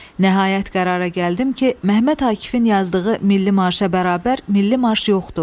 Nəhayət qərara gəldim ki, Məhəmməd Akifin yazdığı milli marşa bərabər milli marş yoxdur.